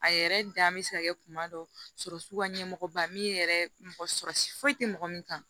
A yɛrɛ dan bɛ se ka kɛ kuma dɔ sɔrɔ sugu ka ɲɛmɔgɔba min yɛrɛ mɔgɔ sɔrɔsi foyi tɛ mɔgɔ min kan